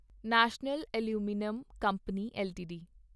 national aluminium company LTD